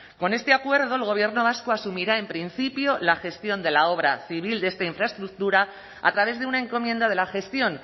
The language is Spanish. con este acuerdo el gobierno vasco asumirá en principio la gestión de la obra civil de esta infraestructura a través de una encomienda de la gestión